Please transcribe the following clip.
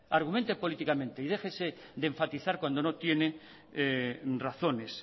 argumente políticamente y déjese de enfatizar cuando no tiene razones